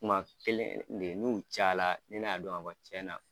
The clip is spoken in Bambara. Kuma kelen kelen de n'u caya la ne n'a dɔn ka fɔ cɛn na.